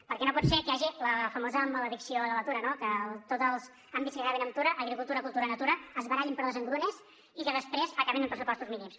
perquè no pot ser que hi hagi la famosa maledicció de la tura no que tots els àmbits que acaben en tura agricultura cultura natura es barallin per les engrunes i que després acaben amb pressupostos mínims